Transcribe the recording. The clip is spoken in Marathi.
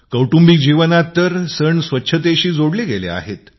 कौटुंबिक जीवनात तर सण स्वच्छतेशी जोडले आहेत